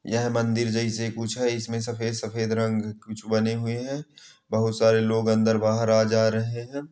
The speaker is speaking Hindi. यह मंदिर जैसा कुछ है इसमें सफ़ेद सफ़ेद रंग कुछ बने हुए है बहुत सारे लोग अंदर बाहर आ जा रहे है।